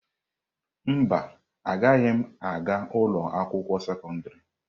Mba, agaghị m aga ụlọ akwụkwọ sekọndrị.